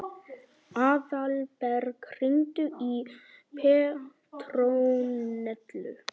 Aðalberg, hringdu í Petrónellu.